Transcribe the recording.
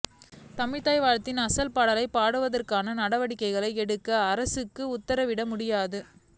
தமிழ்த்தாய் வாழ்த்தின் அசல்பாடலை பாடுவதற்கான நடவடிக்கைகளை எடுக்க அரசுக்கு உத்தரவிட முடியாது